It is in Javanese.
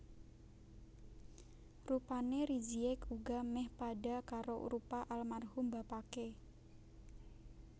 Rupane Rizieq uga meh padha karo rupa almarhum bapake